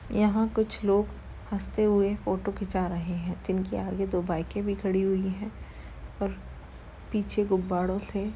यहाँ कुछ लोग हसते हुए फोटो खींचा रहे है जिनके आगे दो बाइके भी खड़ी हुई है और पीछे गुब्बाड़ो थे --